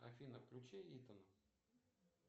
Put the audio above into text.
афина включи итона